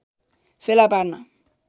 फेला पार्न